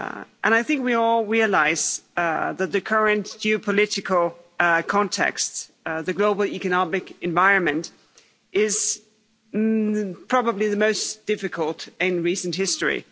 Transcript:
And I think we all realise that the current geopolitical context, the global economic environment, is probably the most difficult in recent history.